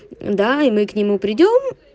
да и мы к нему придём